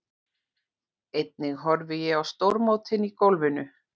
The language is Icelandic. Einnig horfi ég á stórmótin í golfinu.